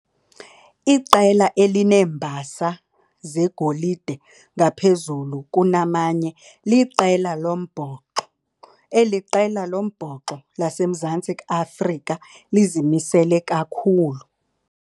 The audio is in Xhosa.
Iqela elineembasa zegolide ngaphezulu kunamanye liqela lombhoxo. Eli qela lombhoxo laseMzantsi Afrika lizimisele kakhulu.